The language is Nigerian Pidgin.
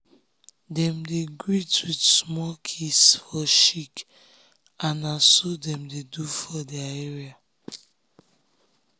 dem dey greet with small kiss for cheek and na so dem do for their area.